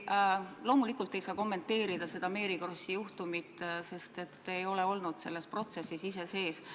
Te loomulikult ei saa kommenteerida Mary Krossi juhtumit, sest te ei ole ise selles protsessis osalenud.